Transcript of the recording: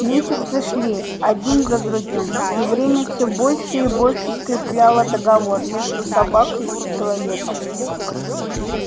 месяцы шли один за другим и время все больше и больше скрепляло договор между собакой и человеком